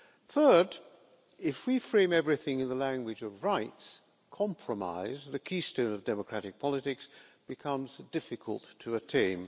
Third, if we frame everything in the language of rights, then compromise, the keystone of democratic politics, becomes difficult to attain.